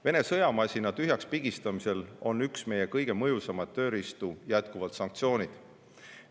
Vene sõjamasina tühjakspigistamisel on üks meie kõige mõjusaimaid tööriistu jätkuvalt sanktsioonid.